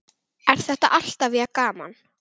Er þetta alltaf jafn gaman?